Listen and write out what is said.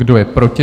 Kdo je proti?